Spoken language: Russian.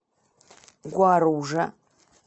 гуаружа